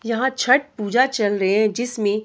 यहां छठ पूजा चल रही है जिसमें --